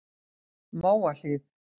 Mávahlíð